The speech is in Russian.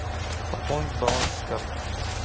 пополнить баланс с карты